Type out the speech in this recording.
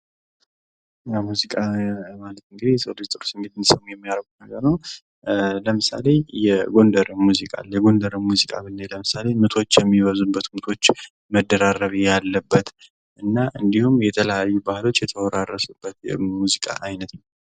ሙዚቃ ማለት እንግዲህ የሰው ልጅ ጥሩ ነገር የሚያደርግ ነገር ነው ለምሳሌ እንግዲህ የጎንደር ሙዚቃ አለ ምቶች የሚበዙበት መደራረቢ ያለበትና እንዲሁም የተለያዩ ባህሎች የተወራረሱበት የሙዚቃ አይነት ነው።